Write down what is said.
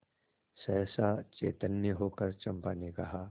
सहसा चैतन्य होकर चंपा ने कहा